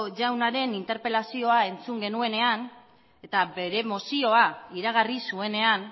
jaunaren interpelazioa entzun genuenean eta bere mozioa iragarri zuenean